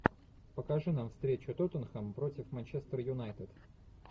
покажи нам встречу тоттенхэм против манчестер юнайтед